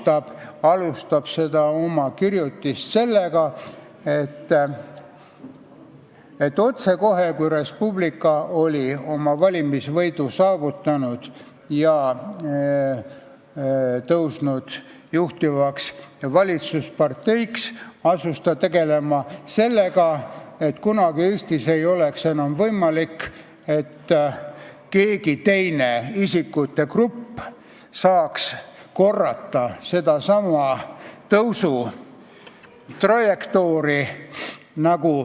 Ta alustas oma kirjutist sellega, et otsekohe, kui Res Publica oli valimisvõidu saavutanud ja tõusnud juhtivaks valitsusparteiks, asus ta tegelema sellega, et kunagi ei oleks Eestis enam võimalik, et keegi teine isikute grupp saaks korrata sedasama tõusutrajektoori.